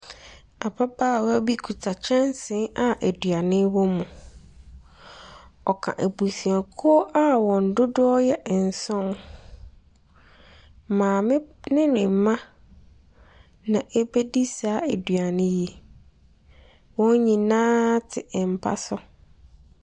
Ababaawa bi kita kyɛnse a aduane wɔ mu, ɔka abusuakuo a wɔn dodoɔ yɛ nson. Maame ne ne mma na wɔredi saa aduane yi. Wɔn nyinaa te mpa so.